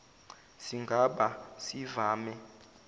siga ba sivame